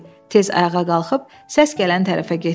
Tez ayağa qalxıb səs gələn tərəfə getdi.